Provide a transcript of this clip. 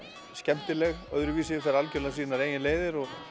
skemmtileg öðruvísi fer algjörlega sínar eigin leiðir og